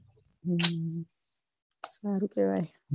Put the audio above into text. હમ સારું કેવાય.